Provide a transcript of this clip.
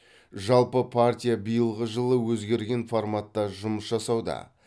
жалпы партия биылғы жылы өзгерген форматта жұмыс жасауда